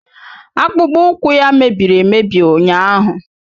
Akpụkpọụkwụ ya mebiri emebi ụnyaahụ